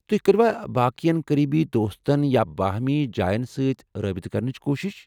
تُہۍ کٔروا باقین قریبی دوستن یا بٲہمی جاین سۭتۍ رٲبطہٕ کرنٕچ کوٗشش ؟